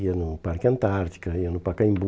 Ia no Parque Antártica, ia no Pacaembu.